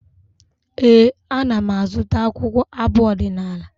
Ee, ana m azụta akwụkwọ abụ ọdịnaala.